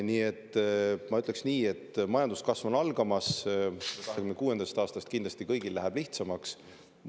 Nii et ma ütleks nii, et majanduskasv on algamas, 2026. aastast kindlasti kõigil läheb lihtsamaks.